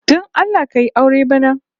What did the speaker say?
Don Allah ka yi aure bana